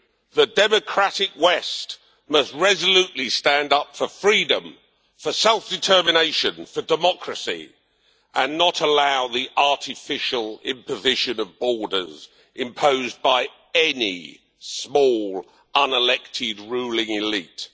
The democratic West must resolutely stand up for freedom, for self-determination and for democracy, and not allow the artificial imposition of borders imposed by any small, unelected ruling elite.